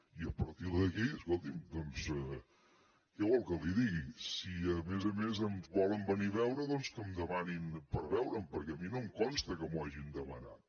i a partir d’aquí escolti’m doncs què vol que li digui si a més a més em volen venir a veure doncs que demanin per veure’m perquè a mi no em consta que m’ho hagin demanat